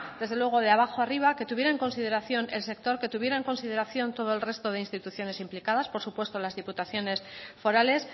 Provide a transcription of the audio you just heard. desde luego de abajo a arriba que tuviera en consideración el sector que tuviera en consideración todo el resto de instituciones implicadas por supuesto las diputaciones forales